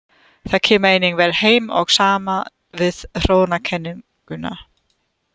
Það kemur einnig vel heim og saman við þróunarkenninguna.